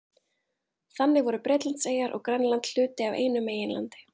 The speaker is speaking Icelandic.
Þannig voru Bretlandseyjar og Grænland hluti af einu meginlandi.